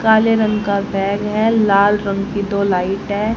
काले रंग का बैग है लाल रंग की दो लाइट है।